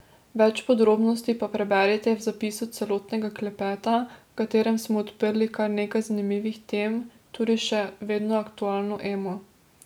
Več podrobnosti pa preberite v zapisu celotnega klepeta, v katerem smo odprli kar nekaj zanimivih tem, tudi še vedno aktualno Emo.